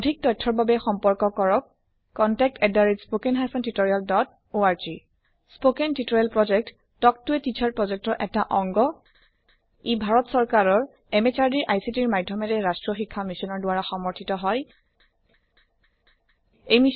অধিক তথ্যৰ বাবে সম্পৰ্ক কৰক160 spoken hyphen tutorial dot org spoken tutorial project এটা talk to a teacher project শিক্ষক ৰ লগত কথা পতা প্ৰজেক্ত ইয়াক সহযোগ কৰিছে নেচনেল মিছন অন এডুকেছন দ্বাৰা আইচিটি এমএচআৰডি ভাৰত চৰকাৰ